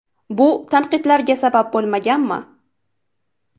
Bu tanqidlarga sabab bo‘lmaganmi?